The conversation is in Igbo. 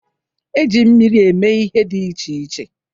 E ji mmiri eme ihe dị iche iche.